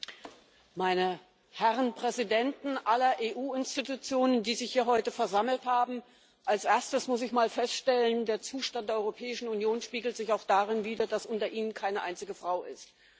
Herr Präsident, meine Herren Präsidenten aller EU Institutionen, die sich heute hier versammelt haben! Als Erstes muss ich mal feststellen Der Zustand der Europäischen Union spiegelt sich auch darin wider, dass unter Ihnen keine einzige Frau ist.